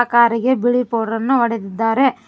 ಕಾರಿಗೆ ಬಿಳಿ ಪೌಡರ್ ಅನ್ನು ಹೊಡೆದಿದ್ದಾರೆ.